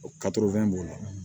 b'o la